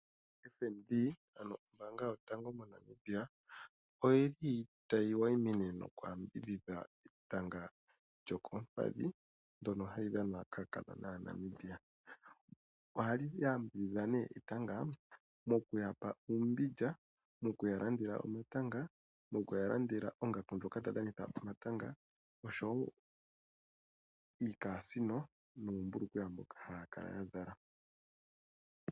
FNB ano Ombaanga Yotango Yopashigwana otayi wayimine nokuyambidhidha etanga lyokoompandhi ndyono hali dhanwa kaakadhona Aanamibia. Ohayi yambidhidha nduno etanga moku ya pa uumbindja, oku ya landela uumbindja, oku ya landela oongaku dhokudhana etanga noshowo iikasiino nuumbulukweya mboka haya kala ya zala.